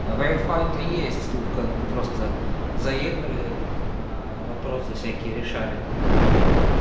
а вай фай то есть тут как бы просто заехали вопросы всякие решали